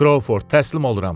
Kroford təslim oluram.